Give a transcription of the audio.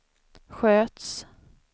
sköts